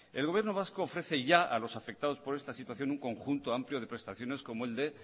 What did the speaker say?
el gobierno vasco ofrece ya a lo afectados por esta situación un conjunto amplio de prestaciones como el de